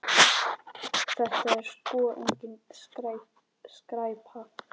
Þetta er sko engin skræpa.